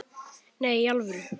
Nei, í alvöru